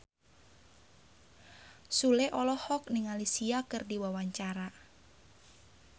Sule olohok ningali Sia keur diwawancara